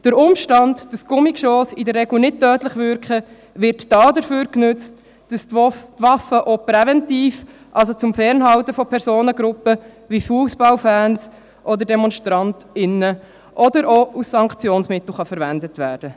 Der Umstand, dass Gummigeschosse in der Regel nicht tödlich wirken, wird dazu genutzt, die Waffen auch präventiv verwenden zu können, also zum Fernhalten von Personengruppen wie Fussballfans oder Demonstrantinnen und Demonstranten, oder auch, um sie als Sanktionsmittel verwenden zu können.